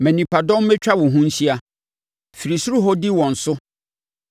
Ma nnipadɔm mmɛtwa wo ho nhyia. Firi soro hɔ di wɔn so;